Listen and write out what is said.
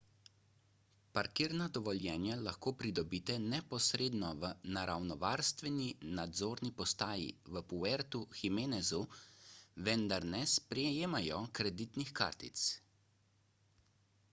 parkirna dovoljenja lahko pridobite neposredno v naravovarstveni nadzorni postaji v puertu jiménezu vendar ne sprejemajo kreditnih kartic